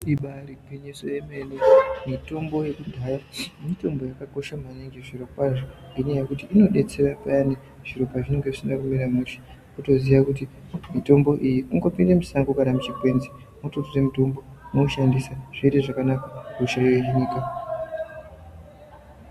Ibari gwinyiso yemene mitombo yekudhaya mitombo yakakosha maningi zvirokwazvo ngenyaya yekuti inodetsera payani zviro pazvinenge zvisina kumira mushe wotoziya kuti mutombo iyi kungopinde mushango kana muchikwenzi mwototore mutombo mwoushandisa zvoite zvakanaka hosha hohinika.